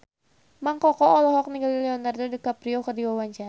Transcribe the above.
Mang Koko olohok ningali Leonardo DiCaprio keur diwawancara